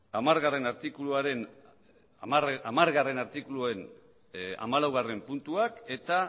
hamargarrena artikuluaren hamalaugarrena puntuak eta